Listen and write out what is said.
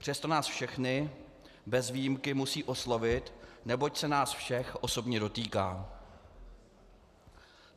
Přesto nás všechny bez výjimky musí oslovit, neboť se nás všech osobně dotýká.